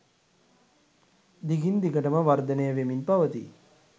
දිගින් දිගටම වර්ධනය වෙමින් පවතී.